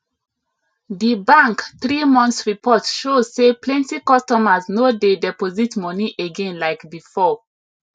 the bank three months report show say plenty customers no dey deposit money again like before